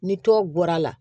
Ni tɔw bɔra la